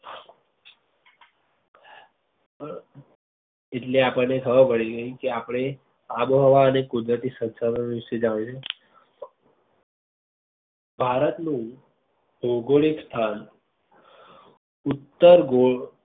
એટલે આપણને ખબર પડી ગઈ કે આપડે આબોહવા અને કુદરતી શંશાધનો નું જાળવવું ભારત નું ભૌગોલીક સ્થાન ઉત્તર ગોળ